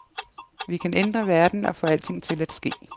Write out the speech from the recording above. Vi kan ændre verden og få alting til at ske.